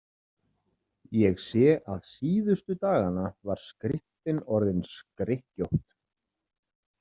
Ég sé að síðustu dagana var skriftin orðin skrykkjótt.